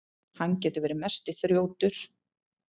Hann getur verið mesti þrjótur.